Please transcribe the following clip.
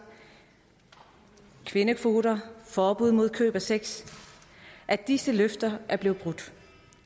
kvindekvoter og forbud mod køb af sex at disse løfter er blevet brudt